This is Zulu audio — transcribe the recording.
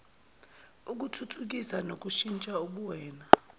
ukuthuthukisa nokushintsha ubuwena